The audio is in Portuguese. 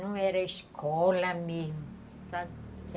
Não era escola mesmo